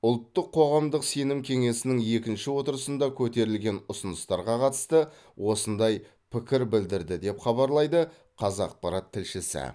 ұлттық қоғамдық сенім кеңесінің екінші отырысында көтерілген ұсыныстарға қатысты осындай пікір білдірді деп хабарлайды қазақпарат тілшісі